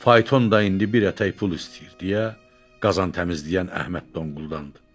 Fayton da indi bir ətək pul istəyir deyə qazan təmizləyən Əhməd donquldandı.